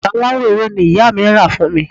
bàtà aláwọ̀ ewé ni ìyá mí rà fún mi